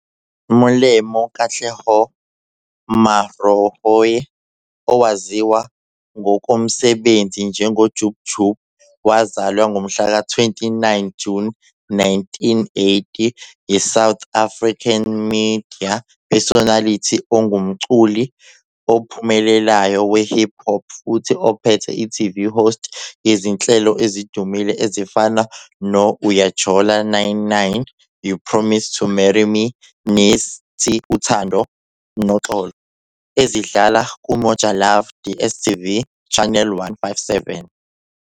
Molemo Katleho Maarohanye, owaziwa ngokomsebenzi njengoJub Jub, wazalwa ngomhlaka 29 Juni 1980, yiSouth African Media Personality ongumculi ophumelelayo we-hip hop futhi ophethe i-TV Host yezinhlelo ezidumile ezifana no-Uyajola 9-9, You Promised to Marry Me nethi Uthando Noxolo ezidlala kuMojalove DSTV Channel 157.